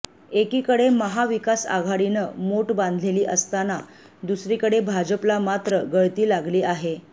एकीकडे महाविकासआघाडीनं मोट बांधलेली असताना दुसरीकडे भाजपला मात्र गळती लागली आहे